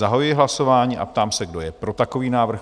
Zahajuji hlasování a ptám se, kdo je pro takový návrh?